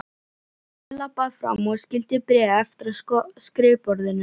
Emil labbaði fram og skyldi bréfið eftir á skrifborðinu.